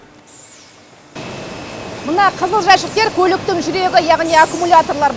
мына қызыл жәшіктер көліктің жүрегі яғни аккумуляторлар